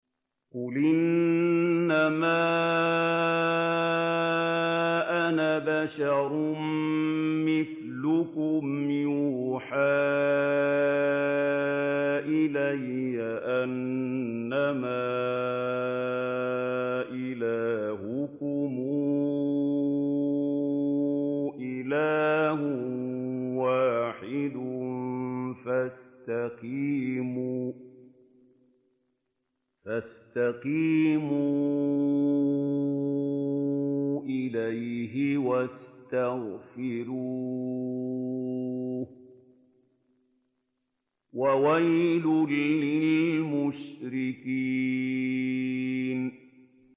قُلْ إِنَّمَا أَنَا بَشَرٌ مِّثْلُكُمْ يُوحَىٰ إِلَيَّ أَنَّمَا إِلَٰهُكُمْ إِلَٰهٌ وَاحِدٌ فَاسْتَقِيمُوا إِلَيْهِ وَاسْتَغْفِرُوهُ ۗ وَوَيْلٌ لِّلْمُشْرِكِينَ